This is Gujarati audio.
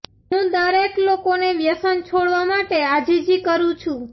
હું દરેક લોકોને વ્યસન છોડવા માટે આજીજી કરું છું